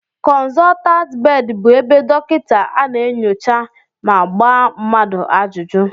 Konsotant bedi bụ ebe dokita a na-enyocha ma gbaa mmadụ ajụjụ